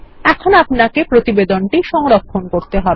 এখন আপনাকেপ্রতিবেদনটিসংরক্ষণ করতে হবে